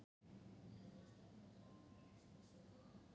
Þín dóttir, Lóa.